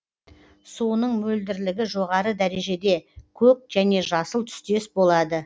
суының мөлдірлігі жоғары дәрежеде көк және жасыл түстес болады